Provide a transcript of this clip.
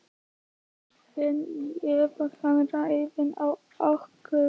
En ef hann ræðst á okkur?